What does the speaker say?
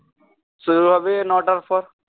শুরু হবে নটার পর